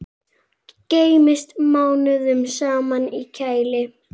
Geymist mánuðum saman í kæli.